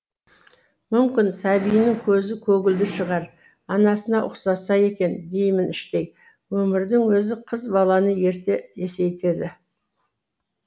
мүмкін сәбиінің көзі көгілдір шығар анасына ұқсаса екен деймін іштей өмірдің өзі қыз баланы ерте есейтеді